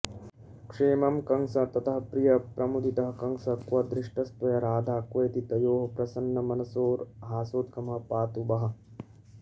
क्षेमं कंस ततः प्रियः प्रमुदितः कंसः क्व दृष्टस्त्वया राधा क्वेति तयोः प्रसन्नमनसोर्हासोद्गमः पातु वः